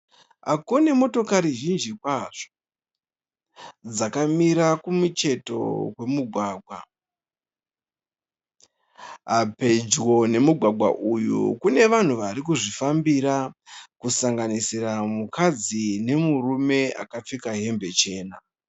Ako nemotokari zhinji kwazvo dzakamira kumucheto kwemugwagwa. Pedyo nemugwagwa uyu kune vanhu vari kuzvifambira kusanganisira mukadzi nemurume akapfeka hembe chena.